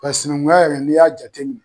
Ka sinankunya yɛrɛ n'i y'a jateminɛ